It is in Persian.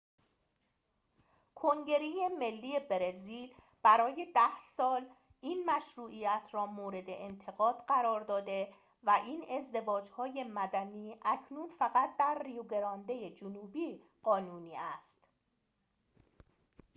کنگره ملی برزیل برای ۱۰ سال این مشروعیت را مورد انتقاد قرار داده و این ازدواج‌های مدنی اکنون فقط در ریو گرانده جنوبی قانونی است